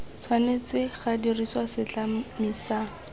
tshwanetse ga dirisiwa setlami sa